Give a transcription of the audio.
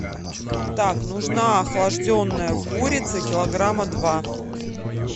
так нужна охлажденная курица килограмма два